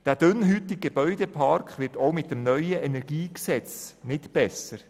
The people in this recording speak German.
Dieser dünnhäutige Gebäudepark wird auch mit dem neuen Energiegesetz nicht besser.